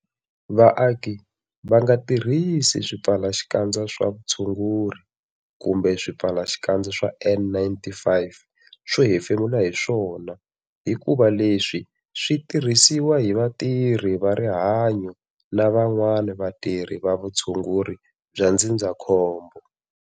Vaaki va nga tirhisi swipfalaxikandza swa vutshunguri kumbe swipfalaxikandza swa N-95 swo hefemula hi swona hikuva leswi swi tirhisiwa hi vatirhi va rihanyo na van'wana vatirhi va vutshunguri bya ndzindzakhombo.